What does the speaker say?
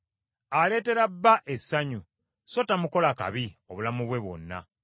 Aleetera bba essanyu so tamukola kabi, obulamu bwe bwonna.